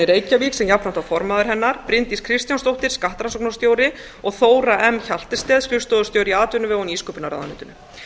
reykjavík sem jafnframt var formaður hennar bryndís kristjánsdóttir skattrannsóknarstjóri og þóra m hjaltested skrifstofustjóri í atvinnuvega og nýsköpunarráðuneytinu